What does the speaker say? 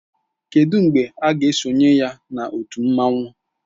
Kedu mgbe ị ga-esonye na otu mmanwu?